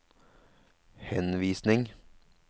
henvisning